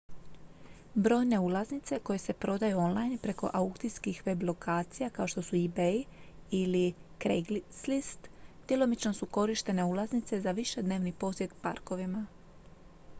brojne ulaznice koje se prodaju online preko aukcijskih web-lokacija kao što su ebay ili craigslist djelomično su korištene ulaznice za višednevni posjet parkovima